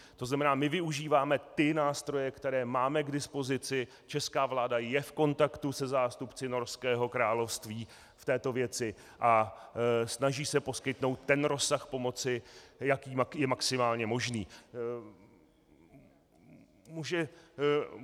To znamená, my využíváme ty nástroje, které máme k dispozici, česká vláda je v kontaktu se zástupci Norského království v této věci a snaží se poskytnout ten rozsah pomoci, jaký je maximálně možný.